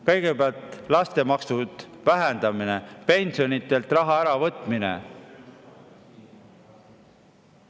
Kõigepealt laste vähendamine ja pensionäridelt raha äravõtmine.